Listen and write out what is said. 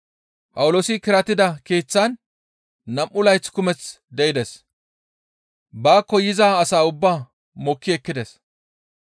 Phawuloosi kiratida keeththaan nam7u layth kumeth de7ides; baakko yiza as ubbaa mokki ekkides.